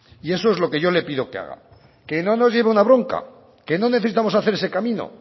y eso es lo que yo le pido que haga que no nos lleve una bronca que no necesitamos hacer ese camino